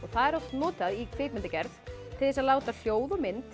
það er oft notað í kvikmyndagerð til þess að láta hljóð og mynd